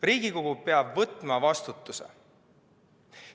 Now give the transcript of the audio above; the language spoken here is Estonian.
Riigikogu peab võtma vastutuse.